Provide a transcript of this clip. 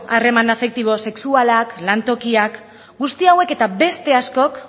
harreman afektibo sexualak lantokiak guzti hauek eta beste askok